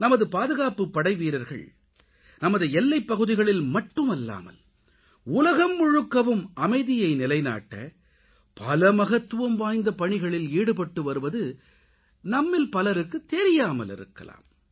நமது பாதுகாப்புப்படைவீரர்கள் நமது எல்லைப்பகுதிகளில் மட்டுமல்லாமல் உலகம் முழுக்கவும் அமைதியை நிலைநாட்ட பல மகத்துவம் வாய்ந்த பணிகளில் ஈடுபட்டு வருவது நம்மில் பலருக்குத் தெரியாமல் இருக்கலாம்